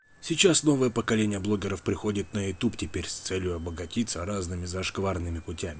сейчас новое поколение блогеров приходит на ютуб теперь с целью обогатиться разными зашкварные